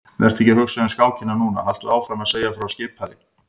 Vertu ekki að hugsa um skákina núna, haltu áfram að segja frá skipaði